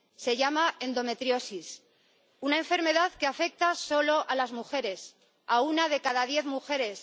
Se llama endometriosis, una enfermedad que afecta solo a las mujeres, a una de cada diez mujeres